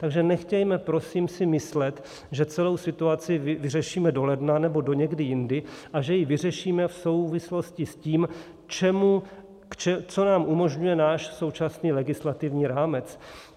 Takže nechtějme si prosím myslet, že celou situaci vyřešíme do ledna nebo do někdy jindy a že ji vyřešíme v souvislosti s tím, co nám umožňuje náš současný legislativní rámec.